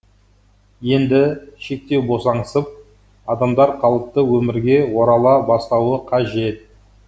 енді шектеу босаңсып адамдар қалыпты өмірге орала бастауы қажет